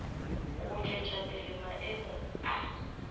go tšwetša pele maemo a